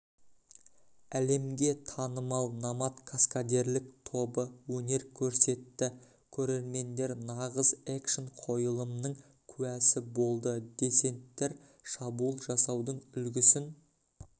әлемге танымал номад каскадерлік тобы өнер көрсетті көрермендер нағыз экшн-қойылымның куәсі болды десенттар шабуыл жасаудың үлгісін